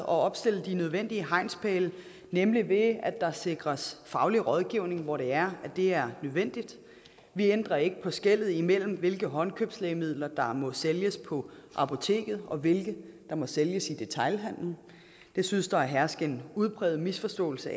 opstille de nødvendige hegnspæle nemlig ved at der sikres faglig rådgivning hvor det er er nødvendigt vi ændrer ikke på vores skelnen mellem hvilke håndkøbslægemidler der må sælges på apoteket og hvilke der må sælges i detailhandelen det synes der at herske en udbredt misforståelse